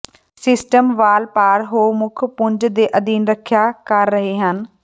system ਵਾਲ ਪਾਰ ਹੋ ਮੁੱਖ ਪੁੰਜ ਦੇ ਅਧੀਨ ਰੱਖਿਆ ਕਰ ਰਹੇ ਹਨ